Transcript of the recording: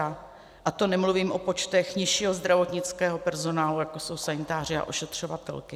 A to nemluvím o počtech nižšího zdravotnického personálu, jako jsou sanitáři a ošetřovatelky.